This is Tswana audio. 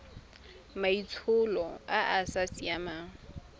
maitsholo a a sa siamang